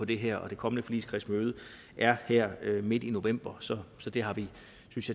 det her og det kommende forligskredsmøde er her midt i november så det har vi